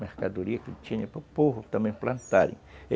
Mercadoria que tinha para o povo também plantarem.